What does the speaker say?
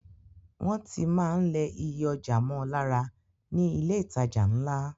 Wọ́n tí máa ń lẹ iye ọjà mọ́ lára ní ilé ìtajà ńlá.